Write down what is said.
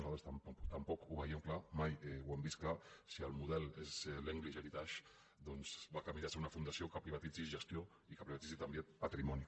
nosaltres tampoc ho veiem clar mai ho hem vist clar si el model és l’english heritage doncs va camí de ser una fundació que privatitzi gestió i que privatitzi també patrimoni